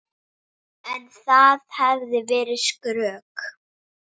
En það hefði verið skrök.